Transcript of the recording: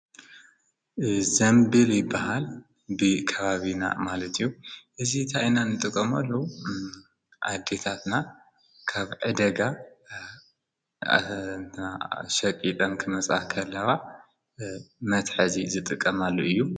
ዘምበል በሃል ብ ካባቢና ማለትዩ እዚ ታይና ንጥቀመሉ ኣጊታትና ካብዕደጋ ኣናሸቂጠን ክመጽሓ ኸለዋ መትሐዚ ዝጥቀማሉ እዩ